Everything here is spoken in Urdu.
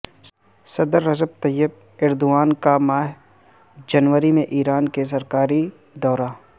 صدر رجب طیب ایردوان کا ماہ جنوری میں ایران کے سرکاری دورہ